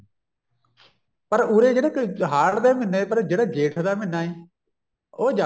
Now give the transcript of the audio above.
ਪਰ ਉਰੇ ਜਿਹੜੇ ਕਈ ਹਾੜ੍ਹ ਦੇ ਮਹੀਨੇ ਪਰ ਜਿਹੜਾ ਜੇਠ ਦਾ ਮਹੀਨਾ ਐ ਉਹ